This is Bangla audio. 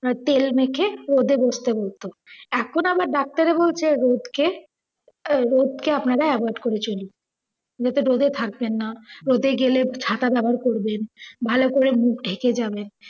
তেল মেখে রোদে বস্তে বলতো। এখন আবার ডাক্তাররা বলছে রোদকে, রোদকে আপনারা avoid করে চলুন। রোদে থাকবেন না। রোদে গেলে ছাতা ব্যাবহার করবেন। ভালো করে মুখ ঢেকে যাবেন।